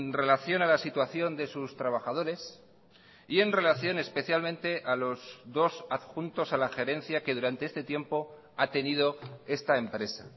relación a la situación de sus trabajadores y en relación especialmente a los dos adjuntos a la gerencia que durante este tiempo ha tenido esta empresa